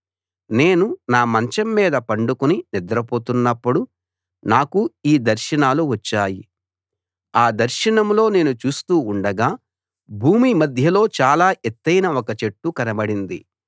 నేను నా మంచం మీద పండుకుని నిద్ర పోతున్నప్పుడు నాకు ఈ దర్శనాలు వచ్చాయి ఆ దర్శనంలో నేను చూస్తూ ఉండగా భూమి మధ్యలో చాలా ఎత్తయిన ఒక చెట్టు కనబడింది